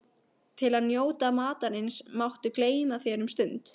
Til að njóta matarins máttu gleyma þér um stund